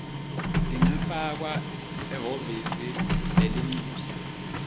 tingafakwa ehhovisi lelincusa